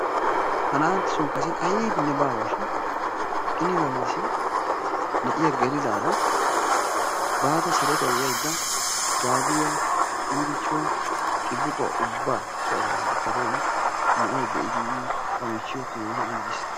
Ha na'anttason kase aybinne baawa shin i ni galassi na'iya gelidaara baada sarotawu yaydaa gaabiya iirichuwa xibbiquwa ubaba so asaassi ekada yin na'ay be'idi ba michiyo keehi anjjiis.